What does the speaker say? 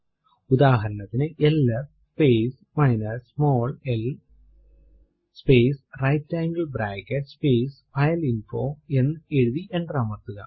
ഉദാഹരണത്തിനു L S space minus small l space right angle bracket space file info എന്ന് എഴുതി enter അമർത്തുക